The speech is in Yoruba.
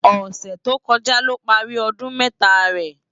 Òsè tókòjá ló pàri òdún mètá rè